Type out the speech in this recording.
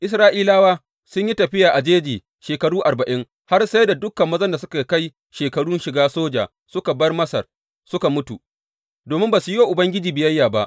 Isra’ilawa sun yi tafiya a jeji shekaru arba’in, har sai da dukan mazan da suka kai shekarun shiga soja da suka bar Masar suka mutu, domin ba su yi wa Ubangiji biyayya ba.